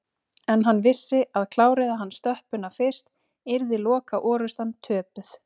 En hann vissi að kláraði hann stöppuna fyrst yrði lokaorrustan töpuð